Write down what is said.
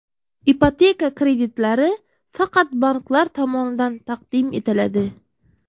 Ipoteka kreditlari faqat banklar tomonidan taqdim etiladi.